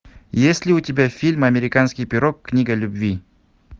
есть ли у тебя фильм американский пирог книга любви